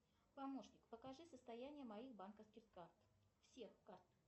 помощник покажи состояние моих банковских карт всех карт